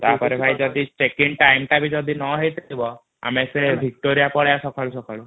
ତାପରେ ଭାଇ ଜାଡୀ ଚେକିଂ ଟାଇମ ଟା ଯଦି ନହେଇଥିବା ଆମେ ସେ ଭିକ୍ଟୋରୀୟ ପଳେଇବା ସକାଳୁ ସକାଳୁ |